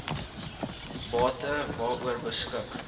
bate waaroor beskik